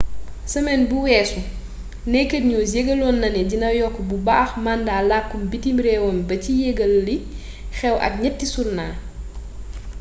semen bu wessu naked news yegalon na né dina yokk bu baax mandat lak butim rewam ba ci yegal liy xew ak niet sournal